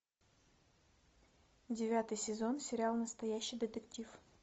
девятый сезон сериал настоящий детектив